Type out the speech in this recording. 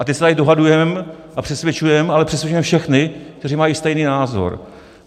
A teď se tady dohadujeme a přesvědčujeme, ale přesvědčujeme všechny, kteří mají stejný názor.